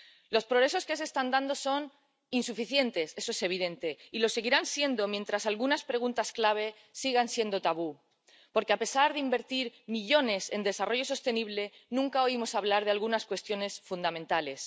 Los progresos que se están dando son insuficientes —eso es evidente— y lo seguirán siendo mientras algunas preguntas clave sigan siendo tabú, porque, a pesar de invertir millones en desarrollo sostenible, nunca oímos hablar de algunas cuestiones fundamentales.